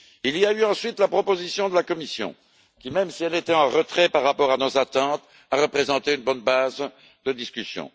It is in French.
Il y a eu ensuite la proposition de la Commission qui, même si elle était en retrait par rapport à nos attentes, a représenté une bonne base de discussion.